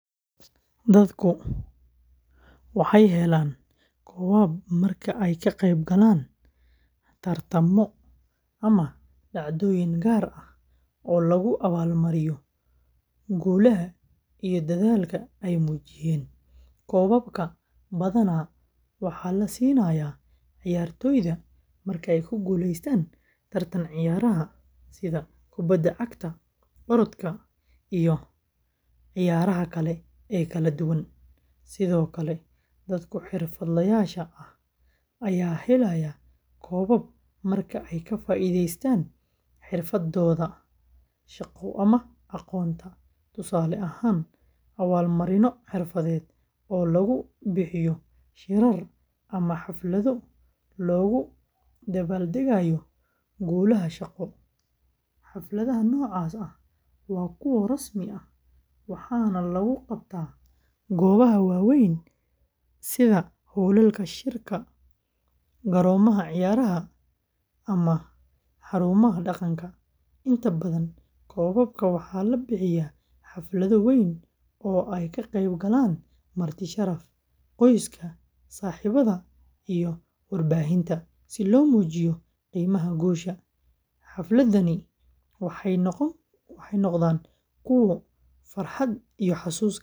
Dadku waxay helaan koobab marka ay ka qeyb galaan tartamo ama dhacdooyin gaar ah oo lagu abaalmariyo guulaha iyo dadaalka ay muujiyeen. Koobabka badanaa waxaa la siinayaa ciyaartoyda marka ay ku guuleystaan tartanka ciyaaraha sida kubadda cagta, orodka, iyo ciyaaraha kale ee kala duwan. Sidoo kale, dadka xirfadlayaasha ah ayaa helaya koobab marka ay ka faa’iidaystaan xirfadooda shaqo ama aqoonta, tusaale ahaan, abaalmarinno xirfadeed oo lagu bixiyo shirar ama xaflado loogu dabaaldegayo guulaha shaqo. Xafladaha noocaas ah waa kuwo rasmi ah, waxaana lagu qabtaa goobaha waaweyn sida hoolalka shirarka, garoomada ciyaaraha, ama xarumaha dhaqanka. Inta badan, koobabka waxaa la bixiyaa xaflado weyn oo ay ka qeyb galaan marti sharaf, qoyska, saaxiibada, iyo warbaahinta, si loo muujiyo qiimaha guusha. Xafladahani waxay noqdaan kuwo farxad iyo xusuus gaar ah leh.